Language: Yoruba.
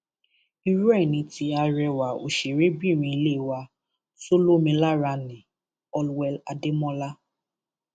irú ẹ ni ti arẹwà òṣèrébìnrin ilé wa tó lómi lára nni allwell ademola